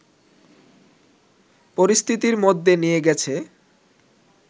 পরিস্থিতির মধ্যে নিয়ে গেছে